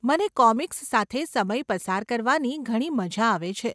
મને કોમિક્સ સાથે સમય પસાર કરવાની ઘણી મજા આવે છે.